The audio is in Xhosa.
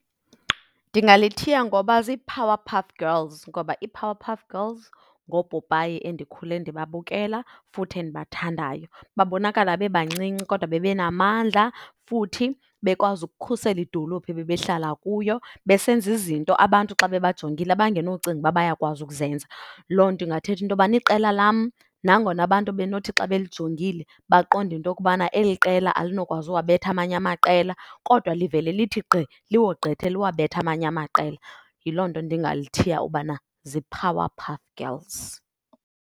Ndingalithiya ngoba ziiPowerpuff Girls ngoba iiPowerpuff Girls ngoopopayi endikhule ndibabukela futhi endibathandayo. Babonakala bebancinci kodwa bebe namandla futhi bekwazi ukukhusela idolophi ebebehlala kuyo. Besenza izinto abantu xa bebajongile abangenocinga uba bayakwazi ukuzenza. Loo nto ingathetha into yobana iqela lam nangona abantu benothi xa belijongile baqonde into okubana eli qela alinokwazi uwabetha amanye amaqela, kodwa livele lithi gqi liwogqithe, liwabethe amanye amaqela. Yiloo nto ndingalithiya ubana ziiPowerpuff Girls.